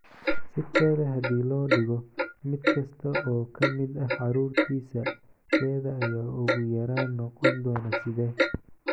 Si kale haddii loo dhigo, mid kasta oo ka mid ah carruurtiisa keeda ayaa ugu yaraan noqon doona side.